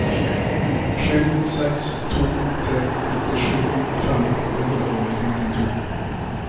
sju seks to tre nittisju fem hundre og nittito